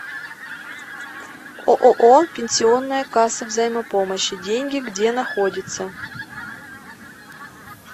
ооо пенсионная касса взаимопомощи деньги где находится